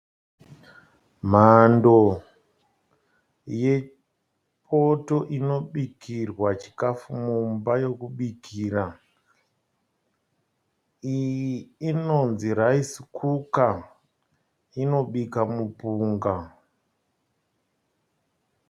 Mhando yepoto inobikrwa chikafu mumba yokubikira. Iyi inonzi raisi kuka, inobika mupunga.